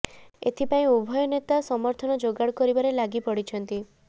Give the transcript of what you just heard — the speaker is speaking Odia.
ଏଥିପାଇଁ ଉଭୟ ନେତା ସମର୍ଥନ ଯୋଗାଡ କରିବାରେ ଲାଗି ପଡ଼ିଛନ୍ତି